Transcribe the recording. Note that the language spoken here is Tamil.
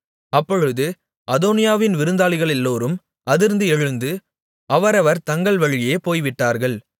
அப்பொழுது அதோனியாவின் விருந்தாளிகளெல்லோரும் அதிர்ந்து எழுந்து அவரவர் தங்கள் வழியே போய்விட்டார்கள்